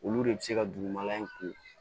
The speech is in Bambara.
Olu de bɛ se ka dugumala in ko